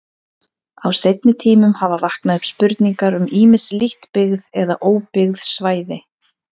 Á seinni tímum hafa vaknað upp spurningar um ýmis lítt byggð eða óbyggð svæði.